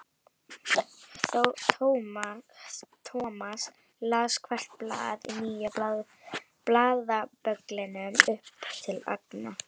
Thomas las hvert blað í nýja blaðabögglinum upp til agna.